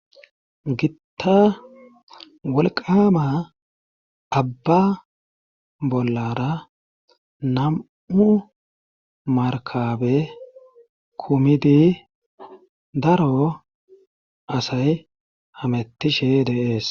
Gitta wolqama abba bollara nam'u markabe kumidi daro asay hamattishe dees.